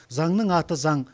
заңның аты заң